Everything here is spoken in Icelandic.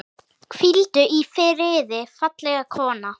Hvíldu í friði, fallega kona.